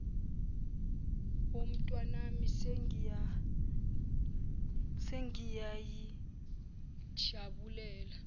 wo mntanami sengiyayijabulela